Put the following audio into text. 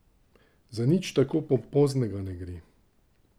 Za nič tako pompoznega ne gre.